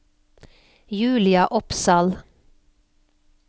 Julia Opsahl